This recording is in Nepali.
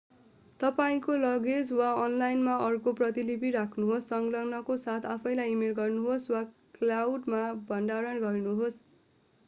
तपाईंको लगेज वा अनलाइनमा अर्को प्रतिलिपि राख्नुहोस् संलग्ननको साथ आफैँलाई इमेल गर्नुहोस् वा क्लाउड”मा भण्डारण गर्नुहोस्।